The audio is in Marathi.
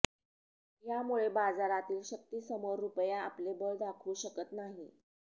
यामुळे बाजारातील शक्तींसमोर रुपया आपले बळ दाखवू शकत नव्हता